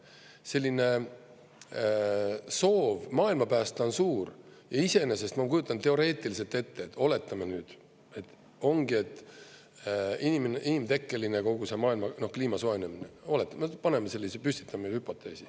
Selline soov maailma päästa on suur ja iseenesest ma kujutan teoreetiliselt ette, et oletame nüüd, et ongi inimtekkeline kogu see maailma kliima soojenemine, oletame, paneme sellise, püstitame hüpoteesi.